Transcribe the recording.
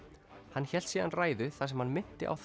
hann hélt síðan ræðu þar sem hann minnti á